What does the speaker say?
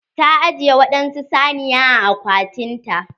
Ta ajiye waɗansu saniya a akwatin ta.